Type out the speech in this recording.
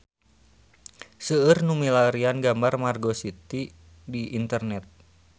Seueur nu milarian gambar Margo City di internet